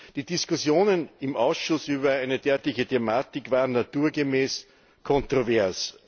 Die Diskussionen im Ausschuss über eine derartige Thematik waren naturgemäß kontrovers.